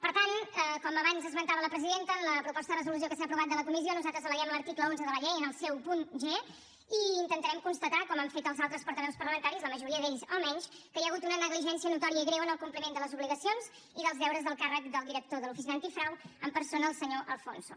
per tant com abans esmentava la presidenta en la proposta de resolució que s’ha aprovat de la comissió nosaltres al·leguem l’article onze de la llei en el seu punt g i intentarem constatar com han fet els altres portaveus parlamentaris la majoria d’ells almenys que hi ha hagut una negligència notòria i greu en el compliment de les obligacions i dels deures del càrrec del director de l’oficina antifrau en persona el senyor de alfonso